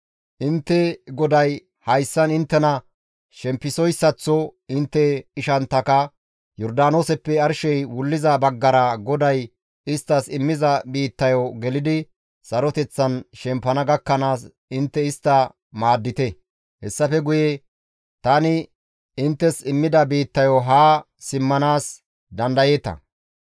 Intte GODAY hayssan inttena shempisoyssaththo intte ishanttaka Yordaanooseppe arshey wulliza baggara GODAY isttas immiza biittayo gelidi saroteththan shempana gakkanaas intte istta maaddite; hessafe guye tani inttes immida biittayo haa simmanaas dandayeeta.